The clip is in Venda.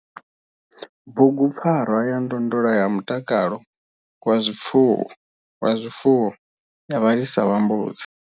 Bugu PFARWA YA NDONDOLA YA MUTAKALO WA ZWIFUWO YA VHALISA VHA MBUDZI.